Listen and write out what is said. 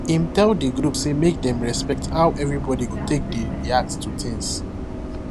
him tell the group say make them respect how everyboy go take dey react to things